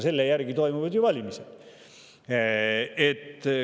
Selle järgi toimuvad ju valimised.